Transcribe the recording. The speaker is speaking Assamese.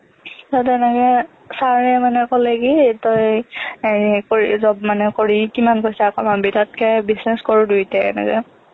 ত তেনেকে sir এ মানে ক'লে কি তই job মানে কৰি কিমান পইচা কমাবি তাতকে business কৰোঁ দুয়োটাই এনেকে